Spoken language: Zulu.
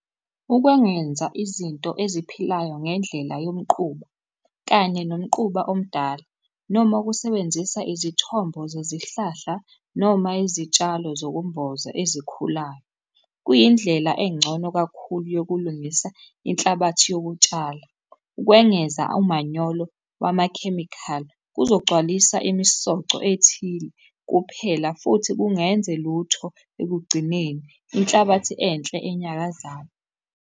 Ukwengenza izinto eziphilayo ngendlela yomquba kanye nomquba omdala, noma ukusebenzisa izithombo zezihlahla noma izitshalo zokumboza ezikhulayo. Kuyindlela engcono kakhulu yokulungisa inhlabathi yokutshala. Ukwengeza umanyolo wamakhemikhali kuzogcwalisa imisoco ethile kuphela futhi kungenze lutho ekugcineni inhlabathi enhle enyakazayo.